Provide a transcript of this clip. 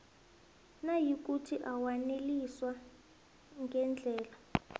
nayikuthi awaneliswa ngendlela